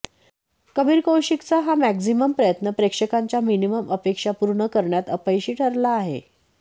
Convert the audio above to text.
कबीर कौशिकचा हा मॅक्झिमम प्रयत्न प्रेक्षकांच्या मिनिमम अपेक्षा पूर्ण करण्यात अपयशी ठरला आहे